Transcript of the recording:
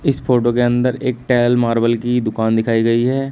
इस फोटो के अंदर एक टाइल मार्बल की दुकान दिखाई गई है।